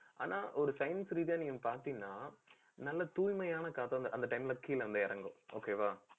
ஆனா, ஒரு science ரீதியா நீங்க பாத்தீங்கன்னா, நல்ல தூய்மையான காத்து வந்து அந்த time ல கீழே இருந்து இறங்கும். okay வா